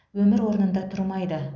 өмір орнында тұрмайды